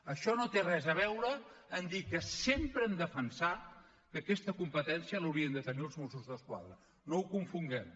això no té res a veure amb dir que sempre hem defensat que aquesta competència l’haurien de tenir els mossos d’esquadra no ho confonguem